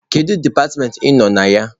Kedu departmentị ị nọ na ya?